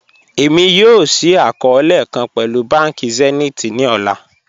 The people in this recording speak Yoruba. Ẹ̀mi yọọ̀ ṣíì akọọ̀lẹ̀ kan pẹ̀lú bánkì Zenith ni ọlá